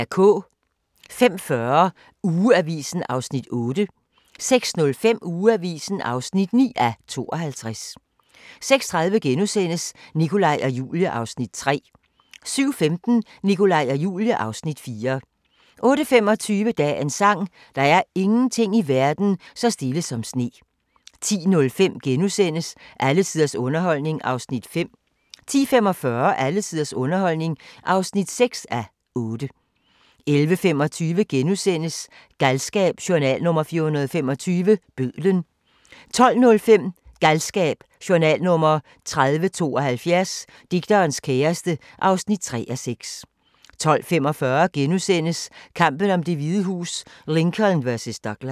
05:40: Ugeavisen (8:52) 06:05: Ugeavisen (9:52) 06:30: Nikolaj og Julie (Afs. 3)* 07:15: Nikolaj og Julie (Afs. 4) 08:25: Dagens sang: Der er ingenting i verden så stille som sne 10:05: Alle tiders underholdning (5:8)* 10:45: Alle tiders underholdning (6:8) 11:25: Galskab: Journal nr. 425 – Bødlen (2:6)* 12:05: Galskab: Journal nr. 3072 - Digterens kæreste (3:6) 12:45: Kampen om Det Hvide Hus: Lincoln vs. Douglas *